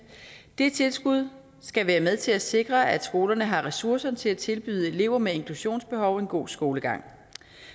det tilskud skal være med til at sikre at skolerne har ressourcerne til at tilbyde elever med inklusionsbehov en god skolegang